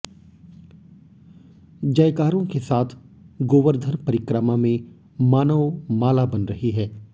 जयकारों के साथ गोवर्धन परिक्रमा में मानव माला बन रही है